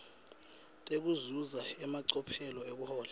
tekuzuza emacophelo ekuhlola